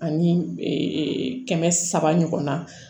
Ani kɛmɛ saba ɲɔgɔnna